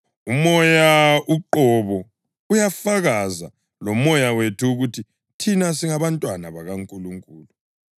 UMoya uqobo uyafakaza lomoya wethu ukuthi thina singabantwana bakaNkulunkulu.